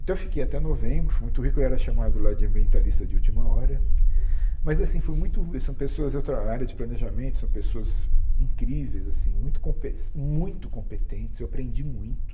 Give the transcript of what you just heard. Então eu fiquei até novembro, foi muito rico, eu era chamado lá de ambientalista de última hora, mas assim, foi muito são pessoas de outra área de planejamento, são pessoas incríveis assim, muito compe muito competentes, eu aprendi muito,